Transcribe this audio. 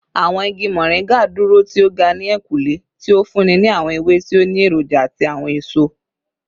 Awọn igi Moringa duro ti o ga ni ehinkunle, ti o funni ni awọn ewe ti o ni eroja ati awọn eso